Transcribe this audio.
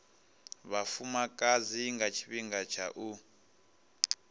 vhafumakadzi nga tshifhinga tsha u